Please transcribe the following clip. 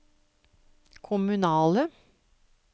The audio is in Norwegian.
kommunale